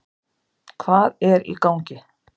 Hvað er í gangi?